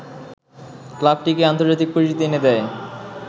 ক্লাবটিকে আন্তর্জাতিক পরিচিতি এনে দেয়